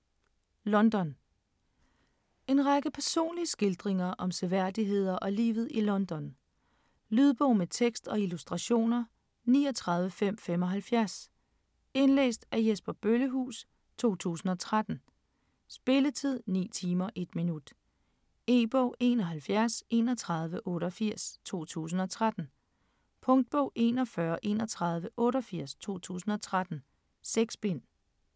London En række personlige skildringer om seværdigheder og livet i London. Lydbog med tekst og illustrationer 39575 Indlæst af Jesper Bøllehuus, 2013. Spilletid: 9 timer, 1 minut. E-bog: 713188 2013. Punktbog: 413188 2013. 6 bind.